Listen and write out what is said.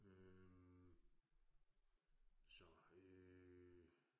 Øh. Så øh